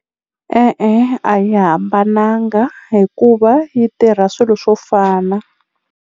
E-e a yi hambananga hikuva yi tirha swilo swo fana.